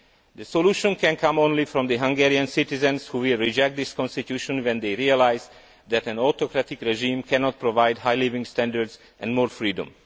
The solution can come only from the Hungarian citizens, who will reject this constitution when they realise that an autocratic regime cannot provide high living standards and more freedom.